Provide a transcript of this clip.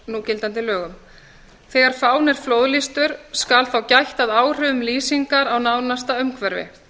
á gildandi lögum nú er fáni flóðlýstur og skal þá gætt að áhrifum lýsingarinnar á nánasta umhverfi